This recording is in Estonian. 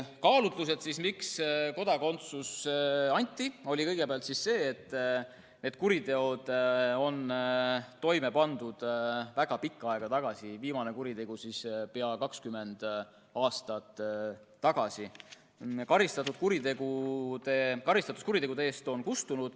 Kaalutlus, miks kodakondsus anti, oli kõigepealt see, et need kuriteod pandi toime väga pikka aega tagasi, viimane kuritegu peaaegu 20 aastat tagasi, ning karistatus kuritegude eest on kustunud.